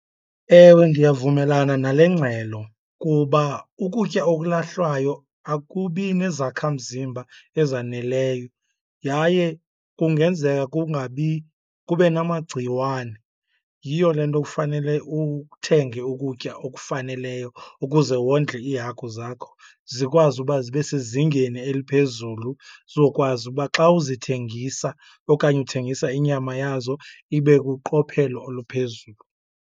Ewe, ndiyavumelana nale ngxelo kuba ukutya okulahlwayo akubi nezakhamzimba ezaneleyo yaye kungenzeka kungabi kube namagciwane. Yiyo le nto kufanele uthenge ukutya okufaneleyo ukuze wondle iihagu zakho zikwazi uba zibe sezingeni eliphezulu, zizokwazi uba xa uzithengisa okanye uthengisa inyama yazo ibe kuqophelo oluphezulu